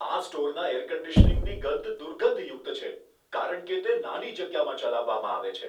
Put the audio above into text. આ સ્ટોરના એર કન્ડીશનીંગની ગંધ દુર્ગંધયુક્ત છે કારણ કે તે નાની જગ્યામાં ચલાવવામાં આવે છે.